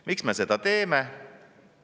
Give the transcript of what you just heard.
Miks me seda teeme?